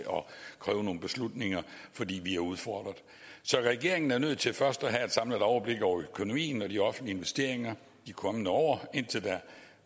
kræve nogle beslutninger fordi vi er udfordret så regeringen er nødt til først at have et samlet overblik over økonomien og de offentlige investeringer i de kommende år indtil da